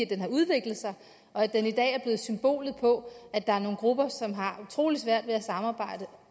det har udviklet sig og at det i dag er blevet symbolet på at der er nogle grupper som har utrolig svært ved at samarbejde